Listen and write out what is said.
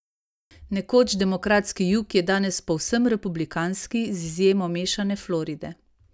Nekoč demokratski jug je danes povsem republikanski z izjemo mešane Floride.